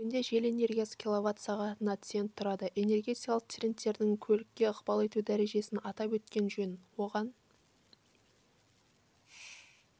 бүгінде жел энергиясы килловат-сағатына цент тұрады энергетикалық трендтердің көлікке ықпал ету дәрежесін атап өткен жөн оған